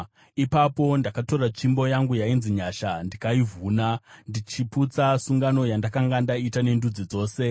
Ipapo ndakatora tsvimbo yangu yainzi Nyasha ndikaivhuna, ndichiputsa sungano yandakanga ndaita nendudzi dzose.